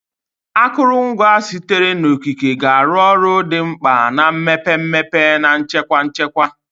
Akụrụngwa sitere n'okike ga-arụ ọrụ dị mkpa na mmepe mmepe na nchekwa nchekwa.